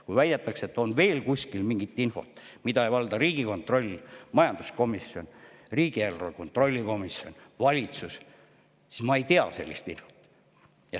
Kui väidetakse, et kuskil on veel mingit infot, mida ei valda Riigikontroll, majanduskomisjon, riigieelarve kontrolli erikomisjon ega valitsus, siis mina seda ei tea.